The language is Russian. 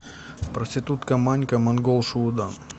проститутка манька монгол шуудан